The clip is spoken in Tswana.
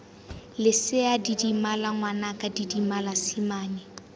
lesea didimala ngwanaka didimala simane